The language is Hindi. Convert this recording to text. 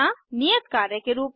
नियत कार्य के रूप में